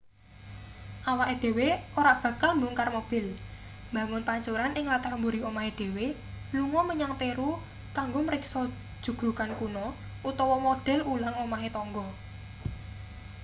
awake dhewe ora bakal mbongkar mobil mbangun pancuran ing latar mburi omahe dhewe lunga menyang peru kanggo mariksa jugrugan kuno utawa model ulang omahe tangga